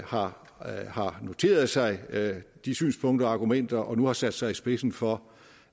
har noteret sig de synspunkter og argumenter og nu har sat sig i spidsen for